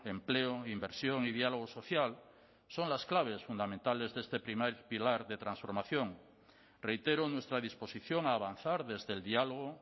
empleo inversión y diálogo social son las claves fundamentales de este primer pilar de transformación reitero nuestra disposición a avanzar desde el diálogo